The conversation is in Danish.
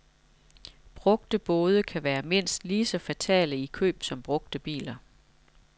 Brugte både kan være mindst lige så fatale i køb som brugte biler.